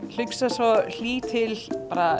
hugsa svo hlýtt til